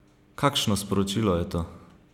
Kakšno sporočilo je to?